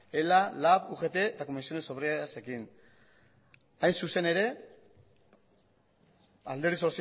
ela lab ugt eta comisiones obrerasekin hain zuzen ere alderdi